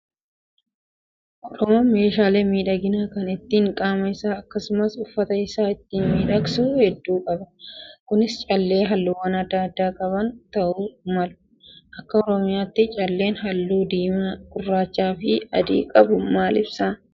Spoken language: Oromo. Oromoon meeshaalee miidhaginaa kan ittiin qaama isaa akkasumas uffata isaa ittiin miidhagsu hedduu qaba. Kunis callee halluuwwan adda addaa qaban ta'uu malu. Akka oromiyaatti calleen halluu diimaa, gurraachaa fi adii qabu maal ibsa?